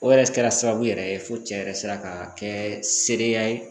O yɛrɛ kɛra sababu yɛrɛ ye fo cɛ yɛrɛ sera ka kɛ sedenya ye